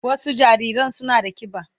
Wasu jariran suna da kiba.